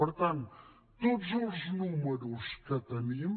per tant tots els números que tenim